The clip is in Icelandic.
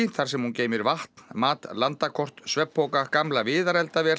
þar sem hún geymir vatn mat landakort svefnpoka gamla